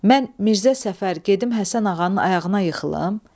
Mən Mirzə Səfər gedib Həsən ağanın ayağına yıxılım?